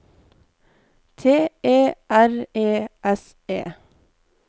T E R E S E